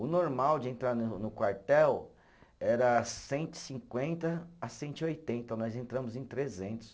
O normal de entrar na no quartel era cento e cinquenta a cento e oitenta, nós entramos em trezentos.